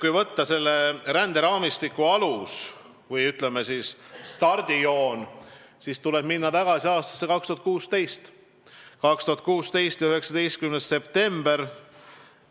Kui võtta selle ränderaamistiku alus või, ütleme, stardijoon, siis tuleb minna tagasi aastasse 2016, 19. septembrisse.